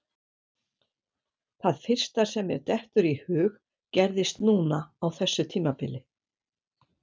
Það fyrsta sem mér dettur í hug gerðist núna á þessu tímabili.